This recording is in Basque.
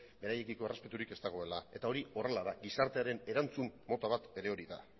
beraiekiko errespeturik ez dagoela eta hori horrela da gizartearen erantzun mota bat ere hori da